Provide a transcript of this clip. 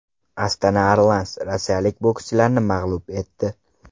Astana Arlans rossiyalik bokschilarni mag‘lub etdi.